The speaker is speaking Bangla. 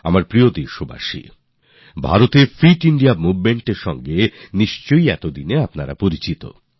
আমার প্রিয় দেশবাসীরা ভারতে ফিট ইন্দিয়া Movementএর সঙ্গে তো আপনারা সম্ভবত পরিচিত হয়েছেন